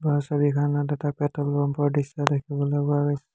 ওপৰৰ ছবিখনত এটা পেট্ৰল পাম্প ৰ দৃশ্য দেখিবলৈ পোৱা গৈছে।